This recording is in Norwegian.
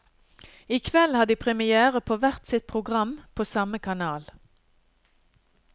I kveld har de première på hvert sitt program, på samme kanal.